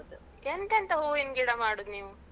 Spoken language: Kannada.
ಎಂತೆಂತ ಹೂವಿನ್ ಗಿಡ ಮಾಡುದ್ ನೀವು?